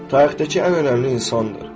Tarixdəki ən önəmli insandır.